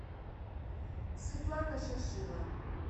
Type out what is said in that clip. светлана шашило